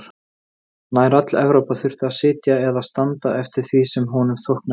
Nær öll Evrópa þurfti að sitja eða standa eftir því sem honum þóknaðist.